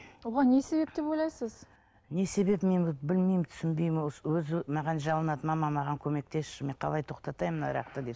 оған не себеп деп ойлайсыз не себебін мен білмеймін түсінбеймін өзі маған жалынады мама маған көмектесші мен қалай тоқтатайын мына арақты деп